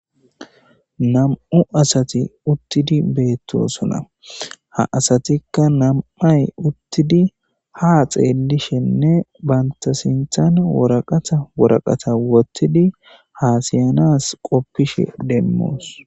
nam7u asati uttidi beettosona ha asatikka nam7ay uttidi ha xeellishenne bantasinthan woraqata woraqata wottidi haasiyanas qoppishe demmoos